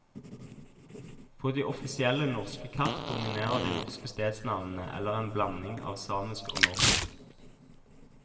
På de offisielle norske kart dominerer de norske stedsnavnene, eller en blanding av samisk og norsk.